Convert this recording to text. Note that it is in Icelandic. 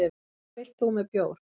Hvað vilt þú með bjór?